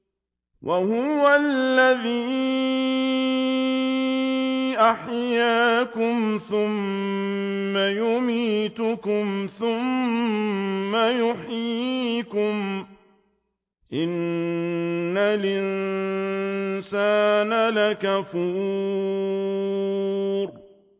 وَهُوَ الَّذِي أَحْيَاكُمْ ثُمَّ يُمِيتُكُمْ ثُمَّ يُحْيِيكُمْ ۗ إِنَّ الْإِنسَانَ لَكَفُورٌ